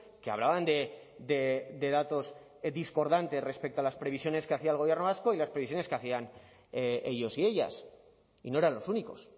que hablaban de datos discordantes respecto a las previsiones que hacía el gobierno vasco y las previsiones que hacían ellos y ellas y no eran los únicos